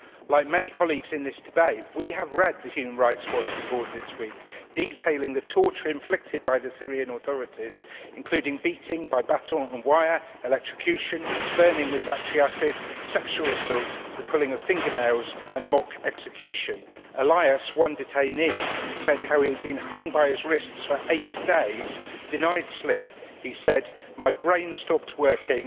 Like many colleagues in this debate we have read the Human Rights Watch report this week detailing the torture inflicted by the Syrian authorities, including beating by baton and wire, electrocution, burning with battery acid, sexual assault, the pulling of fingernails and mock execution. Elias, one detainee, described how he had been hung by his wrists for eight days and denied sleep. He said My brain stopped working.